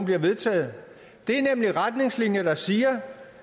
bliver vedtaget det er nemlig retningslinjer der siger